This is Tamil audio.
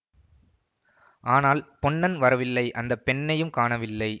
ஆனால் பொன்னன் வரவில்லை அந்த பெண்ணையும் காணவில்லை